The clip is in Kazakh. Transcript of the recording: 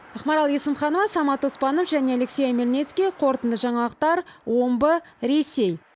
ақмарал есімханова самат оспанов және алексей омельницкий қорытынды жаңалықтар омбы ресей